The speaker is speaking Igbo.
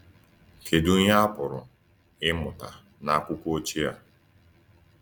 Kedu ihe a pụrụ ịmụta n’akwụkwọ ochie a?